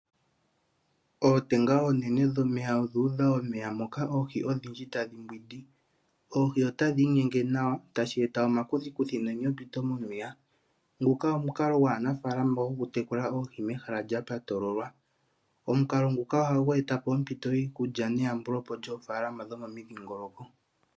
Ootenga onene dhomeya odhu udha omeya moka oohi odhindji tadhi mbwindi. Oohi otadhi inyenge nawa tadhi eta omakuthikuthi nenyopito momeya. Ngoka omukalo gwaanafalama oku tekula oohi mehala lya patololwa. Omukalo nguka ohagu etapo ompito yiikulya neyambulepo lyoofalama dhomomidhingoloko.